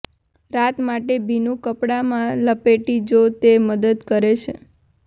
રાત માટે ભીનું કાપડમાં લપેટી જો તે મદદ કરે છે